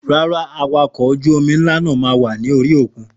Rárá Awakọ̀ ọkọ̀ ojú omi ńlá náà máa wá ní orí òkun